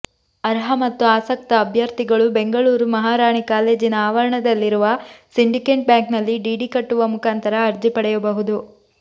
ಅರ್ಹ ಮತ್ತು ಆಸಕ್ತ ಅಭ್ಯರ್ಥಿಗಳು ಬೆಂಗಳೂರು ಮಹಾರಾಣಿ ಕಾಲೇಜಿನ ಆವರಣದಲ್ಲಿರುವ ಸಿಂಡಿಕೇಟ್ ಬ್ಯಾಂಕ್ನಲ್ಲಿ ಡಿಡಿ ಕಟ್ಟುವ ಮುಖಾಂತರ ಅರ್ಜಿ ಪಡೆಯಬಹುದು